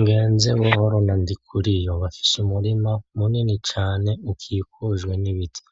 Ngenzebuhoro na Ndikuriyo bafise umurima munini cane ukikujwe n'ibiti,